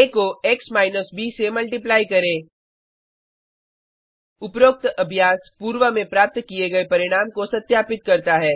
आ को x minus ब से मल्टिप्लाई करें उपरोक्त अभ्यास पूर्व में प्राप्त किए गए परिणाम को सत्यापित करता है